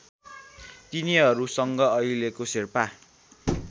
तिनीहरूसँग अहिलेको शेर्पा